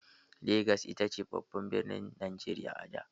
Legas ita ce babban birnin Najeriya a da.